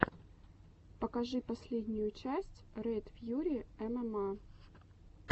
покажи последнюю часть ред фьюри эмэма